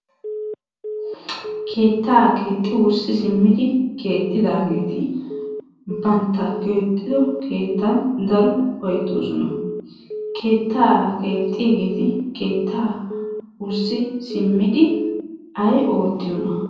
Keettaa keexxi wurssi simmidi keexxidaageeti bantta keexxido keettan daro ufayttoosona. Keettaa keexxiyaageeti keettaa wurssi simmidi ay oottiyoonaa?